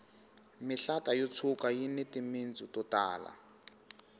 mihlata yo tshuka yini timitsu to tala